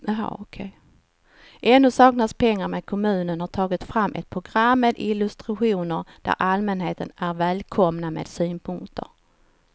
Ännu saknas pengar men kommunen har tagit fram ett program med illustrationer där allmänheten är välkomna med synpunkter.